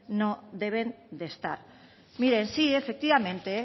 no deben de estar miren sí efectivamente